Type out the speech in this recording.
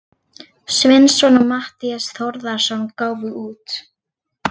Sveinsson og Matthías Þórðarson gáfu út.